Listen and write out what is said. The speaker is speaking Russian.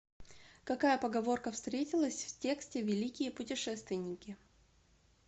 какая поговорка встретилась в тексте великие путешественники